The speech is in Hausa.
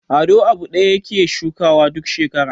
Ado abu ɗaya yake shukawa duk shekara.